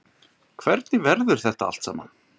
Hvernig verður þetta allt saman?